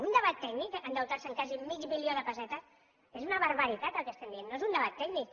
un debat tècnic endeutar se en quasi mig milió de pessetes és una barbaritat el que estem dient no és un debat tècnic